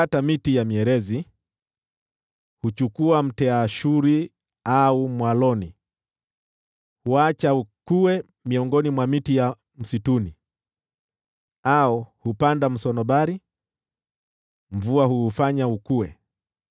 Hukata miti ya mierezi, huchukua mtiriza au mwaloni. Huuacha ukue miongoni mwa miti ya msituni, au hupanda msunobari, nayo mvua huufanya ukue.